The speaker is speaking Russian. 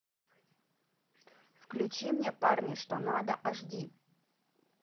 включи мне парни что надо аш ди